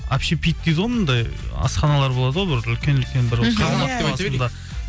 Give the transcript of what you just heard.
общипит дейді ғой мынандай асханалар болады ғой бір үлкен үлкен бір